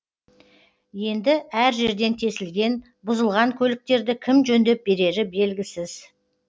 енді әр жерден тесілген бұзылған көліктерді кім жөндеп берері белгісіз